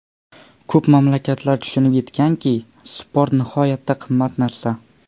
Ko‘p mamlakatlar tushunib yetganki, sport nihoyatda qimmat narsa.